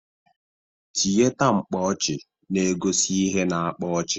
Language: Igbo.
Tiyeta mpọchị na-egosi ihe na-akpa ọchị.